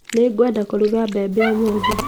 Nĩngwenda kũruga mbembe ũmũthĩ